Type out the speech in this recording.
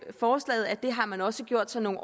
forslaget at det har man også gjort sig nogle